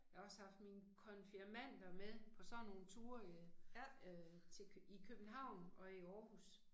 Jeg har også haft mine konfirmanter med på sådan nogle ture i øh øh til i København og i Aarhus